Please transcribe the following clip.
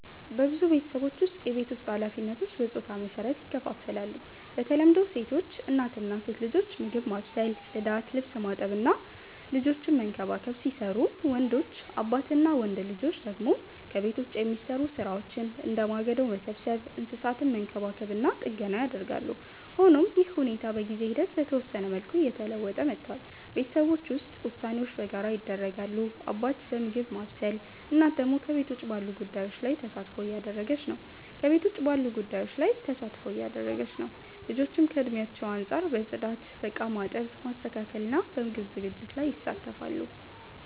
በብዙ ቤተሰቦች ውስጥ የቤት ውስጥ ኃላፊነቶች በጾታ መሰረት ይከፋፈላሉ። በተለምዶ ሴቶች (እናት እና ሴት ልጆች) ምግብ ማብሰል፣ ጽዳት፣ ልብስ ማጠብ እና ልጆችን መንከባከብ ሲሰሩቡ፣ ወንዶች (አባት እና ወንድ ልጆች) ደግሞ ከቤት ውጭ የሚሰሩ ሥራዎችን፣ እንደ ማገዶ መሰብሰብ፣ እንስሳትን መንከባከብ እና ጥገና ያደርጋሉ። ሆኖም ይህ ሁኔታ በጊዜ ሂደት በተወሰነ መልኩ እየተለወጠ መጥቷል። ቤተሰቦች ውስጥ ውሳኔዎች በጋራ ይደረጋሉ፤ አባት በምግብ ማብሰል፣ እናት ደግሞ ከቤት ውጭ ባሉ ጉዳዮች ላይ ተሳትፎ እያደረገች ነው። ልጆችም ከእድሜያቸው አንጻር በጽዳት፣ በእቃ ማጠብ፣ ማስተካከል እና በምግብ ዝግጅት ላይ ይሳተፋሉ።